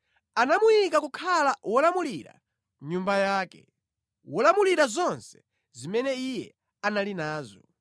Anamuyika kukhala wolamulira nyumba yake, wolamulira zonse zimene iye anali nazo,